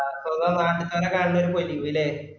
അപ്പൊ ഇങ്ങ നാണു sir ന കാണുമ്പയേക് പറ്റികൂലെ